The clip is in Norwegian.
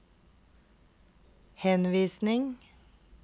henvisning